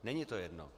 Není to jedno.